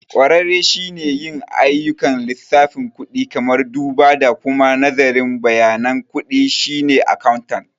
Ƙwararre shi ke yin ayyukan lissafin kudi, kamar duba da kuma nazarin bayanan kuɗi, shine accountant.